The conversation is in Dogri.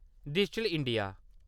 digital India